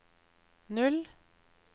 null